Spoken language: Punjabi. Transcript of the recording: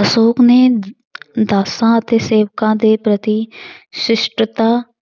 ਅਸ਼ੌਕ ਨੇ ਦਾਸਾਂ ਅਤੇ ਸੇਵਕਾਂ ਦੇ ਪ੍ਰਤੀ ਸ਼ਿਸ਼ਟਤਾ